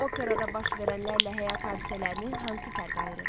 Operada baş verənlərlə həyat hadisələrini hansı fərq ayırır?